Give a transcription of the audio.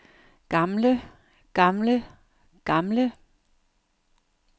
gamle gamle gamle